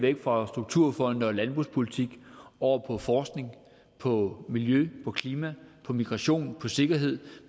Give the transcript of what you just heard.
væk fra strukturfonde og landbrugspolitik over på forskning på miljø på klima på migration på sikkerhed